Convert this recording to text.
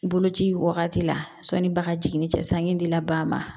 Boloci wagati la sɔnni bagan jiginni cɛsan dila ba ma